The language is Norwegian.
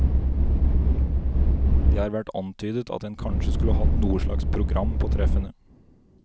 Det har vært antydet at en kanskje skulle hatt noe slags program på treffene.